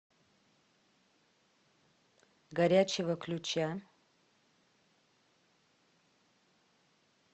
горячего ключа